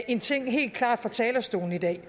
en ting helt klart fra talerstolen i dag